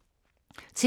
TV 2